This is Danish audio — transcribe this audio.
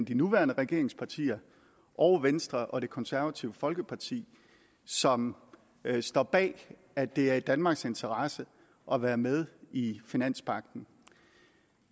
de nuværende regeringspartier og venstre og det konservative folkeparti som står bag at det er i danmarks interesse at være med i finanspagten